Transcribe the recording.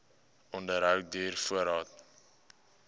onderhou duur voort